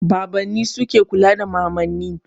Babanni su ke kula da mamanni.